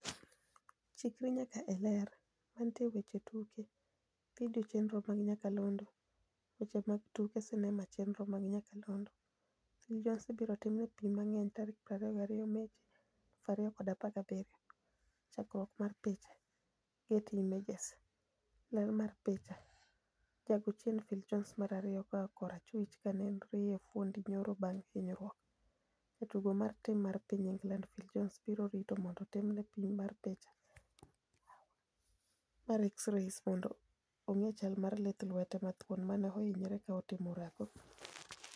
Chikri nyaka e Ler. Mantie e weche tuke. Video chenro mag nyakalondo. Weche mag tuke sinema chenro mag nyakalondo. Phil Jones ibiro timne pim mang'eny, 22 Machi 2017 Chakruok mar picha, Getty Images. Ler mar picha, jago chien Phil Jones mar ariyo koa kor achwich ka en e riye fuondi nyoro bang' hinyruok. Jatugo mar tim mar piny England Phil Jones, biro rito mondo otimne pim mar picha mar x-rays mondo onge chal mar lith lwete mathuon mane ohinyore ka otimo orako